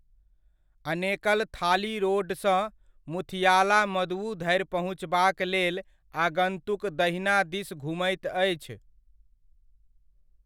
अनेकल थाली रोडसँ मुथियालामदुवु धरि पहुँचबाक लेल आगन्तुक दहिना दिस घुमैत अछि।